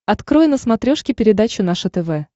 открой на смотрешке передачу наше тв